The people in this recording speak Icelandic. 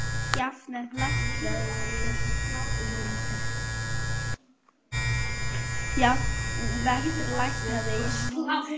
Jafet, lækkaðu í hátalaranum.